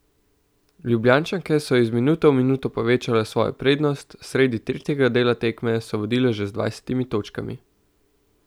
Ljubljančanke so iz minuto v minuto povečevale svojo prednost, sredi tretjega dela tekme so vodile že z dvajsetimi točkami.